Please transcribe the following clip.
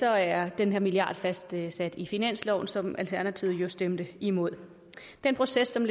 er den her milliard fastsat i finansloven som alternativet jo stemte imod den proces som